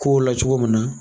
K'o la cogo min na